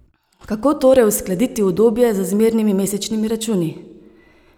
Kako torej uskladiti udobje z zmernimi mesečnimi računi?